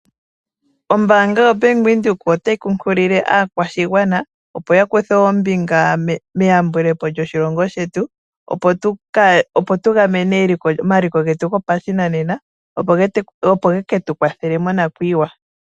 Ombaanga yoBank Windhoek otayi kunkilile opo yakuthe ombinga meyambulepo lyoshilongo shetu, opo tugamene omaliko getu gopashinanena opo geketu kwathele monakuyiwa.